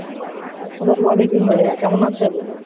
আস্সালামু আলাইকুম ভাইয়া কেমন আছেন?